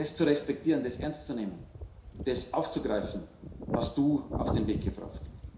Das zu respektieren, das ernst zu nehmen, das aufzugreifen, hast Du auf den Weg gebracht.